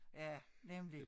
Ja nemlig